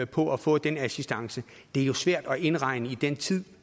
på at få den assistance det er jo svært at indregne i den tid